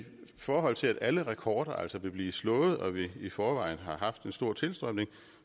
forhold til at alle rekorder altså vil blive slået og vi i forvejen har haft en stor tilstrømning